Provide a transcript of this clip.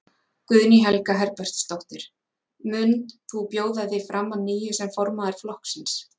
Guðný Helga Herbertsdóttir: Mund þú bjóða þig fram að nýju sem formaður flokksins?